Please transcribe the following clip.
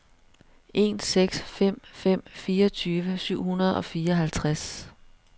en seks fem fem fireogtyve syv hundrede og fireoghalvtreds